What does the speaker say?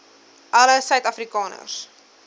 alle suid afrikaners